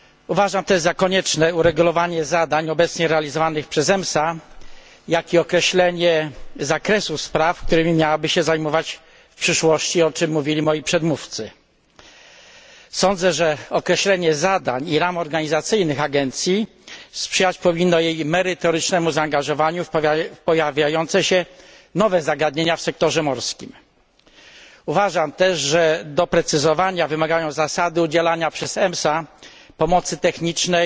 Uważam też za konieczne uregulowanie zadań obecnie realizowanych przez EMSA, jak i określenie zakresu spraw, którymi miałaby się zajmować w przyszłości, o czym mówili moi przedmówcy. Sądzę, że określenie zadań i ram organizacyjnych agencji sprzyjać powinno jej merytorycznemu zaangażowaniu w pojawiające się nowe zagadnienia w sektorze morskim. Uważam też, że doprecyzowania wymagają zasady udzielania przez EMSA pomocy technicznej